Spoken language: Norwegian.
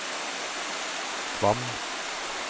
Kvam